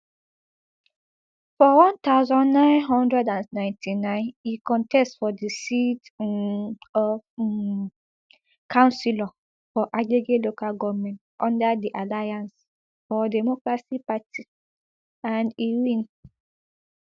for one thousand, nine hundred and ninety-nine e contest for di seat um of um councillor for agege local goment under di alliance for democracy party and e win